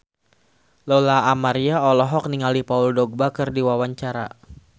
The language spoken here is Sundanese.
Lola Amaria olohok ningali Paul Dogba keur diwawancara